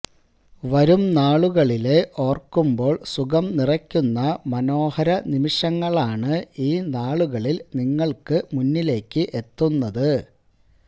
വരും നാളുകളില് ഓര്ക്കുമ്പോള് സുഖം നിറയ്ക്കുന്ന മനോഹര നിമിഷങ്ങളാണ് ഈ നാളുകളില് നിങ്ങള്ക്ക് മുന്നിലേക്ക് എത്തുന്നത്